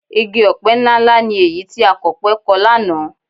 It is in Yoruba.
Igi ọ̀pẹ ńláǹlà ni èyí tí akọ̀pẹ kọ lánàá